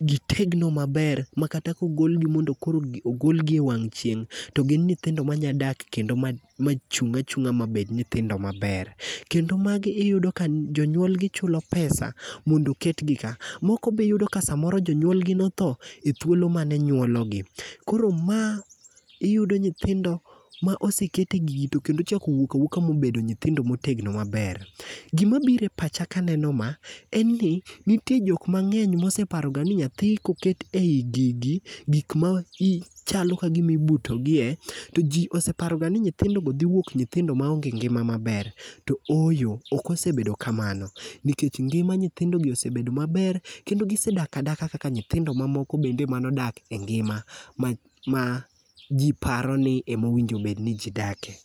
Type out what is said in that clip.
gitegno maber, makata kogolgi, mondo koro ogolgi e wang' chieng' to gin nyithindo manya dak kendo ma ma chung'a chungá ma bed nyithindo maber. Kendo magi iyudo ka jonyuolgi chulo pesa mondo oketgi ka. Moko be iyudo ka samoro jonyuolgi notho e thuolo mane nyuologi. Koro ma, iyudo nyithindo ma oseket e gini, to kendo ocha owuok awuoka ma obedo nyithindo motegno maber. Gima biro e pacha ka aneno ma, en ni, nitie jok mangény moseparoga ni nyathi koket ei gigi, gik ma chalo ka gima ibuto gie, to ji oseparogani nyithindogi dhi wuok nyithindo maonge ngima maber. To ooyo, ok osebedo kamano, nikech ngima nyithindogi osebedo maber, kendo gisedak adaka kaka nyithindo mamoko bende manodak e ngima, ma ji paroni ema owinjo bed ni ji dake.